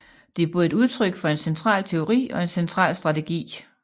Det er både et udtryk for en central teori og en central strategi